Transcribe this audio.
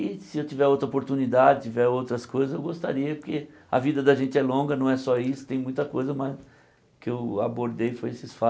E se eu tiver outra oportunidade, tiver outras coisas, eu gostaria, porque a vida da gente é longa, não é só isso, tem muita coisa, mas o que eu abordei foi esses